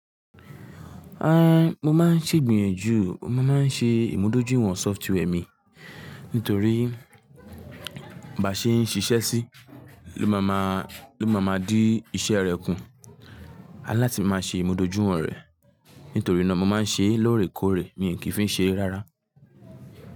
Ah, mo máa ń ṣègbìyànjú, mo máa ń ṣe ìmúdójúìwọ̀n software mi nítorí bí a ṣe ń ṣiṣẹ́ sí ló máa ma, ló máa ma di iṣẹ́ rẹ kú. A láti máa ṣe ìmúdójúìwọ̀n rẹ̀. Nítorí náà mo máa ń ṣe é lóòrèkóòrè, mi ò kì í fi ṣe é rárá.